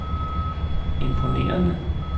imponerende